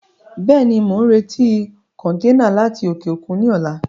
Bẹ́ẹ̀ni, mo ń retí kọntẹ́ẹ́nà láti òkè òkun ni ọ̀la.